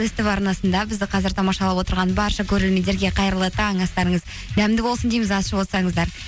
ств арнасында бізді қазір тамашалап отырған барша көрермендерге қайырлы таң астарыңыз дәмді болсын дейміз ас ішіп отырсаңыздар